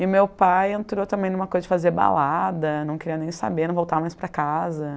E meu pai entrou também numa coisa de fazer balada, não queria nem saber, não voltava mais para casa.